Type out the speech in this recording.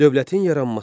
Dövlətin yaranması.